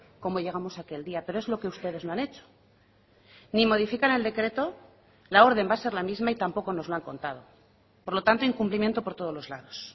como llegamos aquel día pero es lo que ustedes no han hecho ni modifican el decreto la orden va a ser la misma y tampoco nos lo han contado por lo tanto incumplimiento por todos los lados